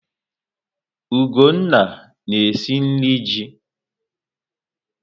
Ugonna na-esi nri ji.